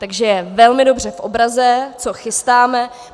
Takže je velmi dobře v obraze, co chystáme.